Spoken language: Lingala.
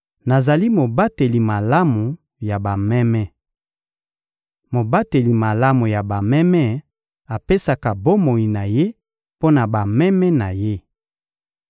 Nazali mobateli malamu ya bameme. Mobateli malamu ya bameme apesaka bomoi na ye mpo na bameme na ye.